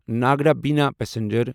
ناگرا بِنا پسنجر